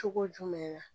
Cogo jumɛn na